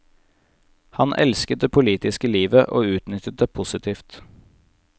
Han elsket det politiske livet, og utnyttet det positivt.